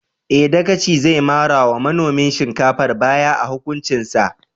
Eh, Dagaci zai mara wa manomin shinkafar baya a hukuncin sa.